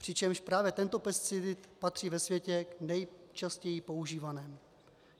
Přitom právě tento pesticid patří ve světě k nejčastěji používaným.